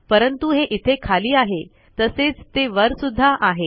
परंतु हे इथे खाली आहे तसेच ते वर सुध्दा आहे